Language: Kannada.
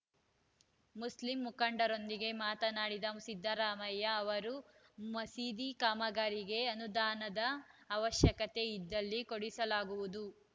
ಮುಸ್ಲಿಂ ಮುಖಂಡರೊಂದಿಗೆ ಮಾತನಾಡಿದ ಸಿದ್ದರಾಮಯ್ಯ ಅವರು ಮಸೀದಿ ಕಾಮಗಾರಿಗೆ ಅನುದಾನದ ಅವಶ್ಯಕತೆ ಇದ್ದಲ್ಲಿ ಕೊಡಿಸಲಾಗುವುದು